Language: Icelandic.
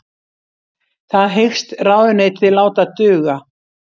Það hyggst ráðuneytið láta duga